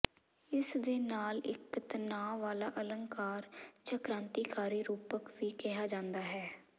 ਇਸ ਦੇ ਨਾਲ ਇਕ ਤਣਾਅ ਵਾਲਾ ਅਲੰਕਾਰ ਜਾਂ ਕ੍ਰਾਂਤੀਕਾਰੀ ਰੂਪਕ ਵੀ ਕਿਹਾ ਜਾਂਦਾ ਹੈ